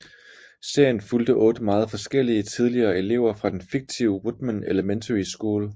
Serien fulgte otte meget forskellige tidligere elever fra den fiktive Woodman Elementary School